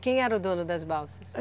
Quem era o dono das balsas?